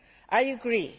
I agree.